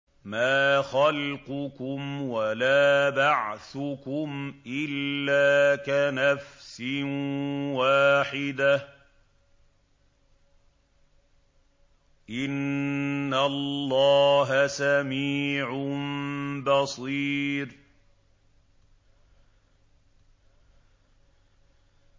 مَّا خَلْقُكُمْ وَلَا بَعْثُكُمْ إِلَّا كَنَفْسٍ وَاحِدَةٍ ۗ إِنَّ اللَّهَ سَمِيعٌ بَصِيرٌ